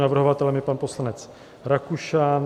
Navrhovatelem je pan poslanec Rakušan.